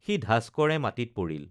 সি ঢাচকৰে মাঢিত পৰিল